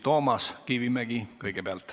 Toomas Kivimägi kõigepealt.